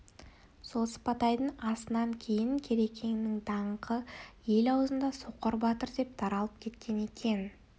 сол сыпатайдың асынан кейін керекеңнің даңқы ел аузында соқыр батыр деп таралып кеткен екен